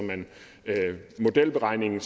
modelberegningen